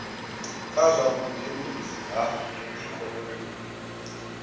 kha zwa vhubindudzi ha ikomoni